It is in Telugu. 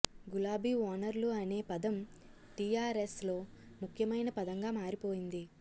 గులాబీ ఓనర్లు అనే పదం టీఆర్ఎస్ లో ముఖ్యమైన పదంగా మారిపోయింది